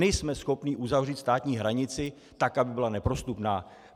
Nejsme schopni uzavřít státní hranici tak, aby byla neprostupná.